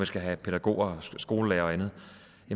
skal have pædagoger skolelærere og andet